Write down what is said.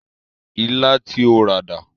Ilá tí o rà dà?